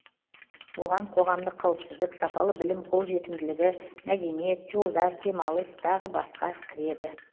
оған қоғамдық қауіпсіздік сапалы білім қолжетімділігі мәдениет жолдар демалыс тағы басқа кіреді